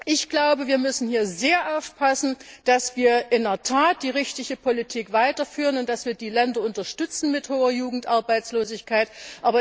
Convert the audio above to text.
Ich glaube, wir müssen hier sehr aufpassen, dass wir in der Tat die richtige Politik weiterführen und dass wir die Länder mit hoher Jugendarbeitslosigkeit unterstützen.